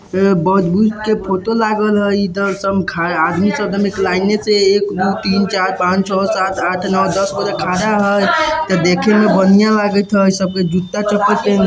बौद्ध बुद्ध के फोटो लागल हई इधर सम सब आदमी सब एक लाइनें से एक दू तीन चार पांच छ सात आठ नो दसगो आदमी खड़ा हई देखे में बढ़िया लागेत हई सबके जूता चप्पल --